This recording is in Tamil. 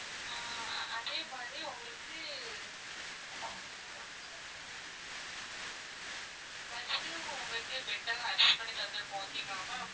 அதே மாதிரி உங்களுக்கு bus லையும் bed bed எல்லாம் arrange பண்ணி தந்திருப்போம் okay ங்களா ma'am